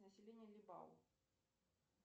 население либау